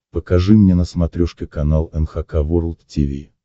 покажи мне на смотрешке канал эн эйч кей волд ти ви